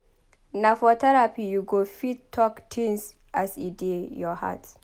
Na for therapy you go fit talk tins as e dey your heart.